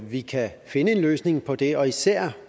vi kan finde en løsning på det og især